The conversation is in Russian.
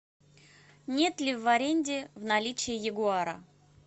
нет ли в аренде в наличии ягуара